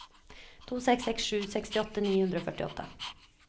to seks seks sju sekstiåtte ni hundre og førtiåtte